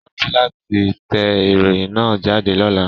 Rántí láti tẹ ìròyìn náà jáde lọ́la